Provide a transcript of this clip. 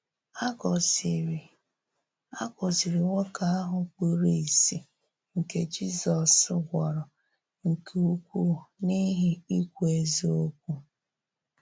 A gòzìrì A gòzìrì nwókè ahụ kpùrù ìsì nke Jizọs gwòrò nke ukwu n’íhì ikwú ezíokwu.